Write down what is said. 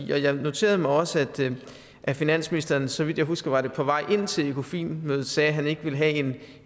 jeg noterede mig også at finansministeren så vidt jeg husker var det på vej ind til økofin mødet sagde at han ikke ville have